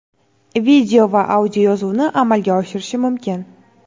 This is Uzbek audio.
video va audio yozuvni amalga oshirishi mumkin.